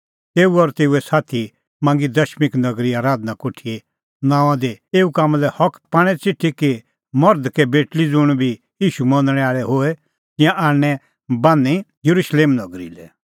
तेऊ और तेऊए साथी मांगी दमिश्क नगरी आराधना कोठीए नांओंआं दी एऊ कामां लै हक पाणें च़िठी कि कै मर्ध कै बेटल़ी ज़ुंण बी ईशू मनणै आल़अ होए तिंयां आणनैं बान्हीं येरुशलेम नगरी लै